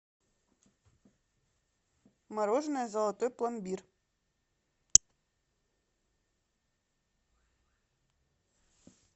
мороженое золотой пломбир